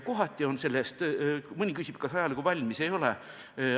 Mõni küsib, kas ajalugu on valmis või ei ole.